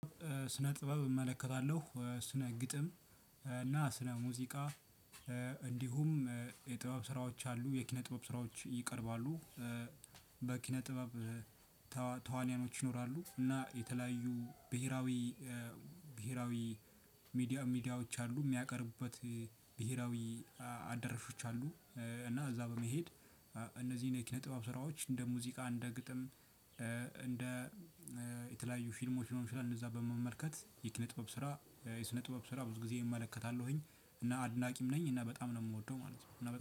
ስነ ጥበብ እመለከታለሁ፤ ስነ ግጥም እና ስነ ሙዚቃ። እንዲሁም የጥበብ ስራዎች አሉ፤ የኪነ ጥበብ ስራዎች ይቀርባሉ። በኪነ ጥበብ ተዋኒያኖች ይኖራሉ እና የተለያዩ ብሄራዊ ብሄራዊ ሚዲያ ሚዲያዎች አሉ የሚያቀርቡበት ብሄራዊ አዳራሾች አሉ እና እዛ በመሄድ እነዚህን የኪነ ጥበብ ስራዎች እንደ ሙዚቃ እንደ ግጥም። እንደ የተለያዩ ፊልሞች ሊሆን ይችላል እንደዛ በመመልከት የኪነ ጥበብ ስራ የስነ ጥበብ ስራ ብዙ ጊዜ እመለከታለሁኝ። እና አድናቂም ነኝ እና በጣም ነው የምወደው ማለት ነው። እና በጣም